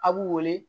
A b'u wele